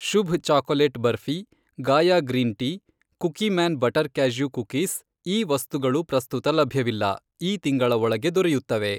Shubh chocolate barfi, Gaia green tea, Cookieman butter cashew cookies, ಈ ವಸ್ತುಗಳು ಪ್ರಸ್ತುತ ಲಭ್ಯವಿಲ್ಲ, ಈ ತಿಂಗಳ ಒಳಗೆ ದೊರೆಯುತ್ತವೆ.